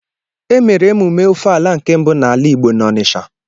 Emere emume Ọfala nke mbụ n'ala Igbo n'Ọnisha